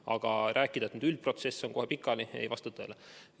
Aga rääkida, et üldprotsess on kohe pikali – see ei vasta tõele.